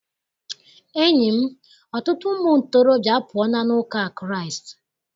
Enyi m, ọtụtụ ụmụ ntorobịa apụọla n'ụka Kraịst.